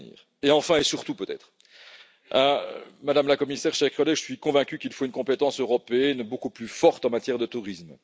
Et enfin et surtout, peut être, Madame la Commissaire, chers collègues, je suis convaincu qu'il faut une compétence européenne beaucoup plus forte en matière de tourisme.